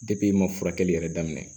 i ma furakɛli yɛrɛ daminɛ